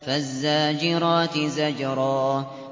فَالزَّاجِرَاتِ زَجْرًا